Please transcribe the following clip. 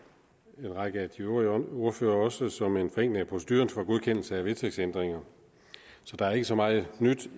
en række af de øvrige ordførere også som en forenkling af proceduren for godkendelse af vedtægtsændringer så der er ikke så meget nyt